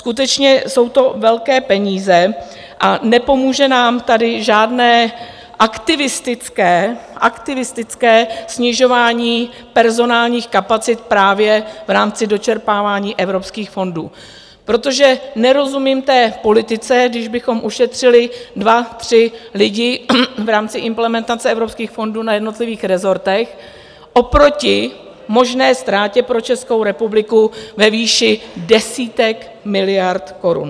Skutečně jsou to velké peníze a nepomůže nám tady žádné aktivistické snižování personálních kapacit právě v rámci dočerpávání evropských fondů, protože nerozumím té politice, když bychom ušetřili dva tři lidi v rámci implementace evropských fondů na jednotlivých rezortech, oproti možné ztrátě pro Českou republiku ve výši desítek miliard korun.